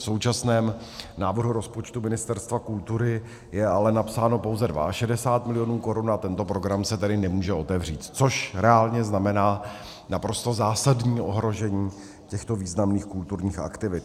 V současném návrhu rozpočtu Ministerstva kultury je ale napsáno pouze 62 milionů korun, a tento program se tedy nemůže otevřít, což reálně znamená naprosto zásadní ohrožení těchto významných kulturních aktivit.